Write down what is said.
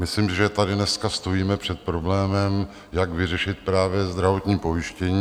Myslím, že tady dneska stojíme před problémem, jak vyřešit právě zdravotní pojištění.